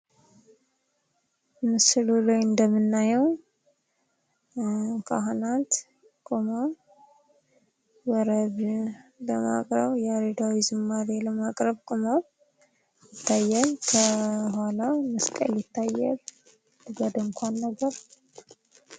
ምስሉ ላይ እንደምናዬው ካህናት ቆመው ወረብ ለማቅረብ ያሬዳዊ ዝማሬ ለማቅረብ ቁመው ይታያል። ከኋላ መስቀል ይታያል። ከዛ ድኳን ነገር